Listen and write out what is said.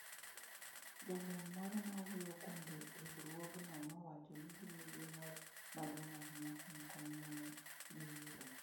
Jalony moro ma wuoyo kuom riwruogno nowacho ni gin gi mor maduong’ ahinya kuom kony ma ne giyudo.